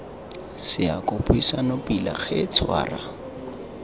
seako buisane pila he tshwara